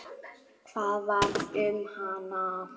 Hvað varð um hana?